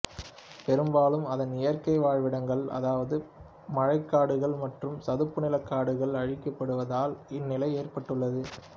பெரும்பாலும் அதன் இயற்கை வாழ்விடங்கள் அதாவது மழைக்காடுகள் மற்றும் சதுப்புநில காடுகள் அழிக்கப்படுவதால் இந்நிலை ஏற்பட்டுள்ளது